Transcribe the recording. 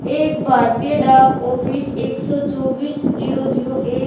एक भारतीय डाक ऑफिस एक सौ चौबीस जीरो जीरो एक--